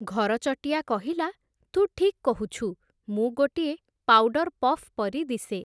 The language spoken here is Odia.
ଘରଚଟିଆ କହିଲା, ତୁ ଠିକ୍ କହୁଛୁ, ମୁଁ ଗୋଟିଏ ପାଉଡର୍ ପଫ୍ ପରି ଦିଶେ ।